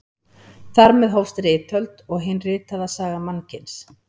Þar með hófst ritöld og hin ritaða saga mannkyns.